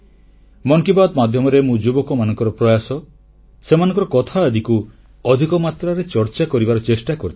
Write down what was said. ମନ କି ବାତ୍ ମାଧ୍ୟମରେ ମୁଁ ଯୁବକମାନଙ୍କର ପ୍ରୟାସ ସେମାନଙ୍କର କଥା ଆଦିକୁ ଅଧିକ ମାତ୍ରାରେ ଚର୍ଚ୍ଚାର କରିବାର ଚେଷ୍ଟା କରିଥାଏ